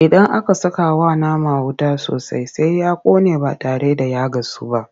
Idan aka sakawa nama wuta sosai Sai ya ƙone ba tare da ya gasu ba.